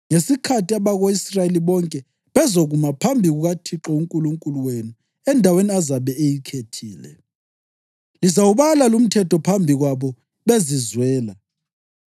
ngesikhathi abako-Israyeli bonke bezokuma phambi kukaThixo uNkulunkulu wenu endaweni azabe eyikhethile, lizawubala lumthetho phambi kwabo bezizwela.